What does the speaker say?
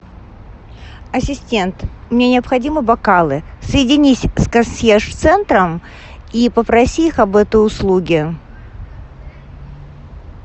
ассистент мне необходимы бокалы соединись с консьерж центром и попроси их об этой услуге